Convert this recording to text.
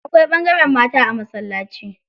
Akwai ɓangaren mata a masallaci.